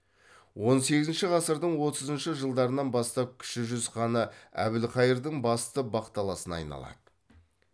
он сегізінші ғасырдың отызыншы жылдарынан бастап кіші жүз ханы әбілқайырдың басты бақталасына айналады